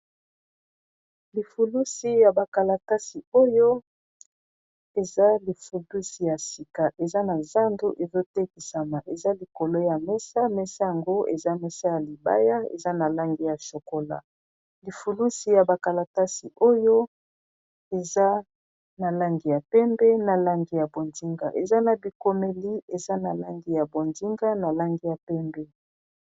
lifulusi ya bakalatasi oyo eza lifulusi ya sika eza na zandu ezotekisama eza likolo ya mesa mesa yango eza mesa ya libaya eza na langi ya sokola lifulusi ya bakalatasi oyo eza na langi ya pembe na langi ya bondinga eza na bikomeli eza na langi ya bondinga na langi ya pembe